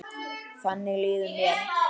Þannig líður mér núna.